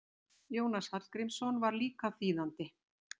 Jónas Hallgrímsson var líka þýðandi.